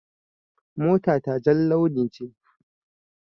Mota ta jar launi ce.